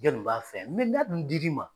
Jɔnni b'a fɛ mɛ n'a dun dil'i ma